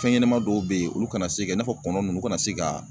Fɛn ɲɛnɛman dɔw be ye olu kana se ka i n'a fɔ kɔnɔ nunnu kana se ka